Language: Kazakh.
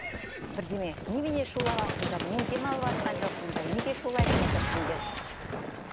бірдеме немене шулаватырсыңдар мен демалыватқан жоқпын ба неге шулайсыңдар сендер деп